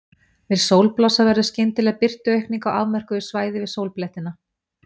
Við sólblossa verður skyndileg birtuaukning á afmörkuðu svæði við sólblettina.